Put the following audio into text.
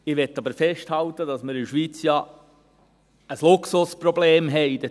Ich will aber festhalten, dass wir diesbezüglich in der Schweiz ja ein Luxusproblem haben.